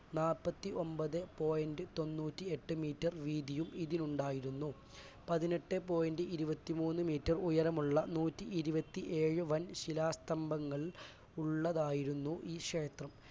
നാല്പത്തിയൊൻപത് point തൊണ്ണൂറ്റിയെട്ട് metre വീതിയും ഇതിനുണ്ടായിരുന്നു. പതിനെട്ടെ point ഇരുപത്തിമൂന്ന് metre ഉയരമുള്ള നൂറ്റിഇരുപതിയേഴ് വൻശില സ്തംഭങ്ങൾ ഉള്ളതായിരുന്നു ഈ ക്ഷേത്രം.